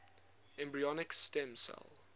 embryonic stem cell